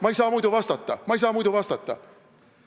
Ma ei saa muidu vastata, ma ei saa muidu vastata.